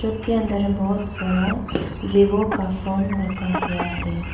के अंदर में बहोत सारा वीवो का फोन रखा हुआ है।